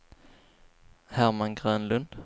Herman Grönlund